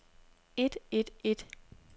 et et et